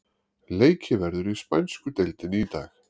Leikið verður í spænsku deildinni í dag.